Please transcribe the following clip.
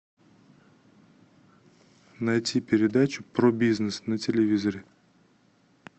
найти передачу про бизнес на телевизоре